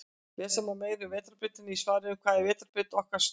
Lesa má meira um Vetrarbrautina í svarinu Hvað er vetrarbrautin okkar stór?